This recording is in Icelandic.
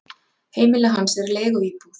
Heimili hans er leiguíbúð.